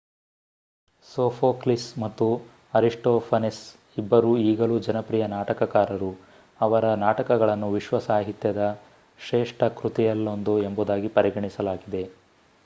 Sophocles ಮತ್ತು Aristophanes ಇಬ್ಬರೂ ಈಗಲೂ ಜನಪ್ರಿಯ ನಾಟಕಕಾರರು ಅವರ ನಾಟಕಗಳನ್ನು ವಿಶ್ವ ಸಾಹಿತ್ಯದ ಶ್ರೇಷ್ಠ ಕೃತಿಗಳಲ್ಲೊಂದು ಎಂಬುದಾಗಿ ಪರಿಗಣಿಸಲಾಗಿದೆ